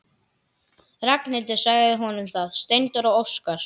Ragnhildur sagði honum það: Steindór og Óskar.